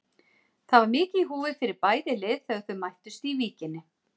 Það var mikið í húfi fyrir bæði lið þegar þau mættust í Víkinni.